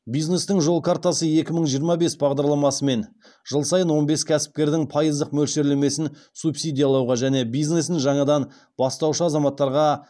бизнестің жол картасы екі мың жиырма бес бағдарламасымен жыл сайын он бес кәсіпкердің пайыздық мөлшерлемесін субсидиялауға және бизнесін жаңадан бастаушы азаматтарға